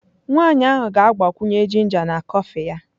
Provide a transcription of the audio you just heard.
Nwanyị ahụ ka ga-agbakwunye ginger na kọfị ya.